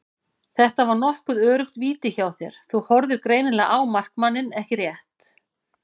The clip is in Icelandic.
Þetta var nokkuð öruggt víti hjá þér, þú horfðir greinilega á markmanninn ekki rétt?